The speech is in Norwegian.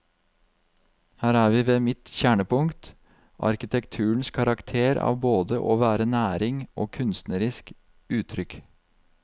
Her er vi ved mitt kjernepunkt, arkitekturens karakter av både å være næring og kunstnerisk uttrykk.